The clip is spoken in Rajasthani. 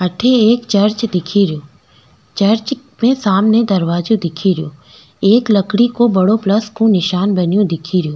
थे एक चर्च दिखे रो चर्च में सामने एक दरवाजा दिखे रो एक लकड़ी को बड़ो प्लस को निशान बनयो दिखेरो।